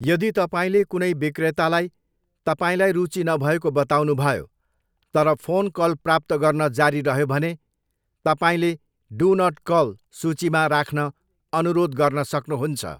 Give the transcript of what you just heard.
यदि तपाईँले कुनै बिक्रेतालाई तपाईँलाई रुचि नभएको बताउनुभयो, तर फोन कल प्राप्त गर्न जारी रह्यो भने, तपाईँले 'डु नट कल' सूचीमा राख्न अनुरोध गर्न सक्नुहुन्छ।